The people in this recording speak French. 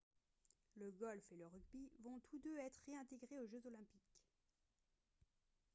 le golf et le rugby vont tous deux être réintégrés aux jeux olympiques